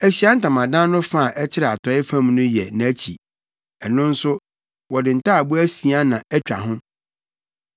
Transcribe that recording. Ahyiae Ntamadan no fa a ɛkyerɛ atɔe fam no yɛ nʼakyi. Ɛno nso, wɔde ntaaboo asia na atwa ho,